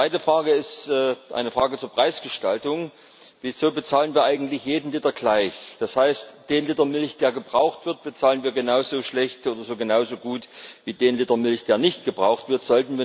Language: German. Die zweite Frage ist eine Frage zur Preisgestaltung Wieso bezahlen wir eigentlich jeden Liter gleich? Das heißt, den Liter Milch, der gebraucht wird, bezahlen wir genauso schlecht oder genauso gut wie den Liter Milch, der nicht gebraucht wird.